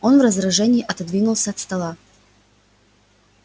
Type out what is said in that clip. он в раздражении отодвинулся от стола